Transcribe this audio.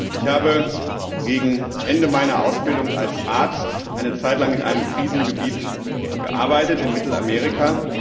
Ich habe gegen Ende meiner Ausbildung als Arzt eine Zeitlang in einem Krisengebiet gearbeitet in Mittelamerika.